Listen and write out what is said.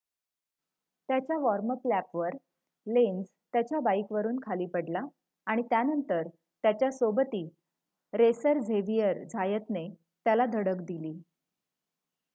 त्याच्या वॉर्म-अप लॅपवर लेन्झ त्याच्या बाइकवरून खाली पडला आणि त्यानंतर त्याच्या सोबती रेसर झेविअर झायतने त्याला धडक दिली